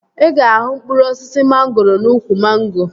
Ị ga-ahụ mkpụrụ osisi mangoro n'úkwù mango